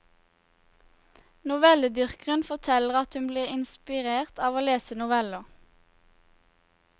Novelledyrkeren forteller at hun blir inspirert av å lese noveller.